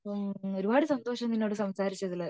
അപ്പൊ ഒരുപാട് സന്തോഷം നിന്നോട് സംസാരിച്ചതില്